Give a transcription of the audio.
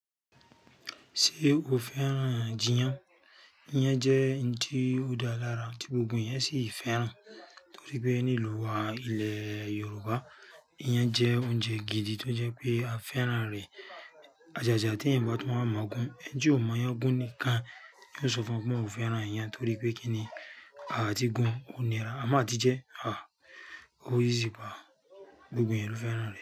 Ṣé o fẹ́ràn jiyan? Iyan jẹ́ ohun tí ó dá lara títí gbogbo eyan ṣì fẹ́ràn. Nítorí pé ní ìlú wa, ilẹ̀ Yorùbá, iyan jẹ́ oúnjẹ gidi tó jẹ́ pé a fẹ́ràn rẹ̀. Ajàjà tí ẹ̀yán bá tún wa mọ̀ gún, ẹ́ni ti ó mọ iyan gún nìkan. Ní ó so fún ọ pé òun ò fẹ́ràn iyan torí pé kí ni, a ti gun. Ó ní ra, a mo a tì jẹ́, à o easy pàá. Gbogbo èèyàn ló fẹ́ràn rẹ̀